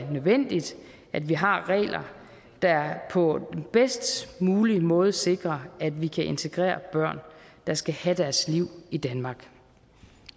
er nødvendigt at vi har regler der på bedst mulig måde sikrer at vi kan integrere børn der skal have deres liv i danmark